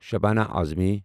Shabana Uzma